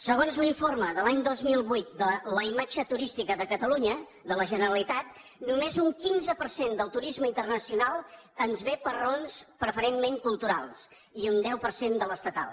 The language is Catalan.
segons l’informe de l’any dos mil vuit de la imatge turística de catalunya de la generalitat només un quinze per cent del turisme internacional ens ve per raons preferentment culturals i un deu per cent de l’estatal